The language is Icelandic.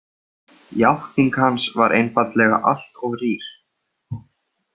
Játning hans var einfaldlega allt of rýr.